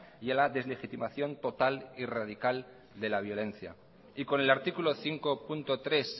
y a la deslegitimación total y radical de la violencia y con el artículo cinco punto tres